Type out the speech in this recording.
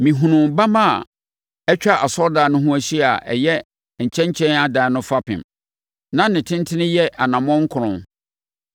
Mehunuu bamma a atwa asɔredan no ho ahyia a ɛyɛ nkyɛnkyɛn adan no fapem. Na ne tentene yɛ anammɔn nkron.